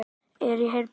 Er í herbergi.